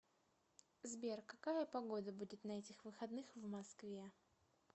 сбер какая погода будет на этих выходных в москве